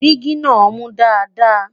jìgì nà mú Dàda